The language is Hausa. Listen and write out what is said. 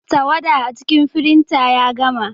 Tawada a cikin firinta ya gama.